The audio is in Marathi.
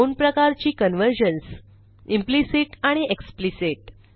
दोन प्रकारची कन्व्हर्जन्स इम्प्लिसिट आणि एक्सप्लिसिट